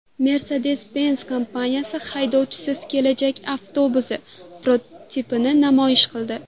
Mercedes-Benz kompaniyasi haydovchisiz kelajak avtobusi prototipini namoyish qildi .